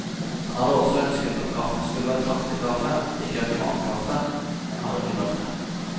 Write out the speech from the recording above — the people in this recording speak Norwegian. Han hadde også ønsket at kaffen skulle være traktekaffe, ikke automatkaffe, men har ikke nådd frem.